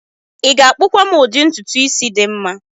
ị ga-akpụkwa m udi ntutu isi dị mma?